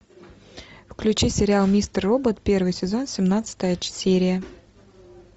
включи сериал мистер робот первый сезон семнадцатая серия